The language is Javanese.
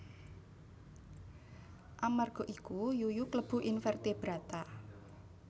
Amarga iku yuyu klebu invertebrata